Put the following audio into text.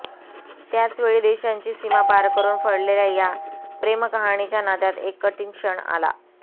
त्याचवेळी देशांची सीमा पार करून फळलेल्या या प्रेमकहाणीच्या नात्यात एक कठीण क्षण आला